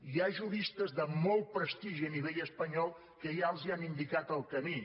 hi ha juristes de molt prestigi a nivell espanyol que ja els han indicat el camí